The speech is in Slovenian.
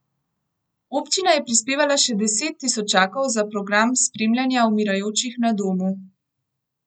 Občina je prispevala še deset tisočakov za program spremljanja umirajočih na domu.